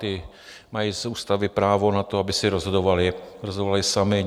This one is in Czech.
Ty mají z ústavy právo na to, aby si rozhodovaly samy.